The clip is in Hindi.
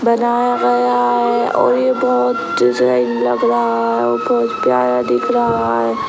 बनाया गया है और ये बहोत लग रहा है। प्यारा दिख रहा है।